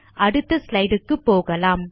அடுத்த ஸ்லைடு க்கு போகலாம்